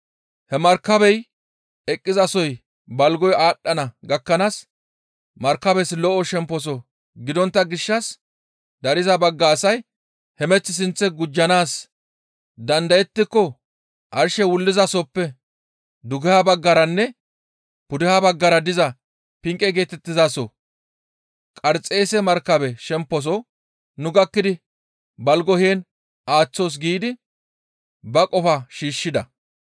He markabey eqqizasoy balgoy aadhdhana gakkanaas markabes lo7o shemposo gidontta gishshas dariza bagga asay, «Hemeth sinth gujjanaas dandayettiko arshey wullizasoppe dugeha baggaranne pudeha baggara diza Pinqe geetettizaso Qarxeese markabe shemposo nu gakkidi balgo heen aaththoos» giidi ba qofaa shiishshida.